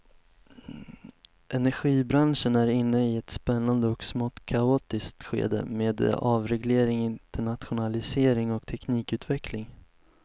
Energibranschen är inne i ett spännande och smått kaotiskt skede med avreglering, internationalisering och teknikutveckling.